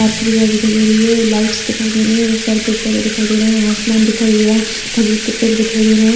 Park की image दिखाई दे रही है लाइट्स दिखाई दे रही है बहुत सारे पेड़-पौधे दिखाई दे रहे है आसमान दिखाई दे रहा है खजूर के पेड़ दिखाई दे रहे है।